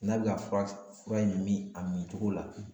N'a bɛ ka fura in mi a min cogo la